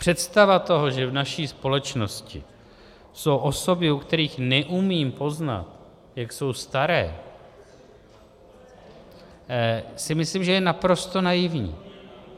Představa toho, že v naší společnosti jsou osoby, u kterých neumím poznat, jak jsou staré, si myslím, že je naprosto naivní.